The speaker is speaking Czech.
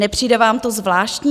Nepřijde vám to zvláštní?